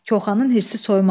Koxanın hirsi soymadı.